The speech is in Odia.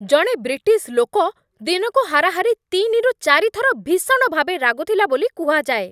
ଜଣେ ବ୍ରିଟିଶ୍ ଲୋକ ଦିନକୁ ହାରାହାରି ତିନି ରୁ ଚାରି ଥର ଭୀଷଣ ଭାବେ ରାଗୁଥିଲା ବୋଲି କୁହାଯାଏ।